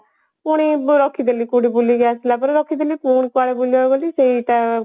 ପୁଣି ରଖିଦେଲି କୋଉଠି ବୁଲିକି ଆସିଲା ପରେ ରଖିଦେଲି ପୁଣି କୁଆଡେ ବୁଲିଆକୁ ଗଲି ସେଇଟା